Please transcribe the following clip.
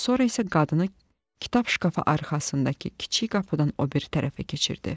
Sonra isə qadını kitab şkafa arxasındakı kiçik qapıdan o biri tərəfə keçirdi.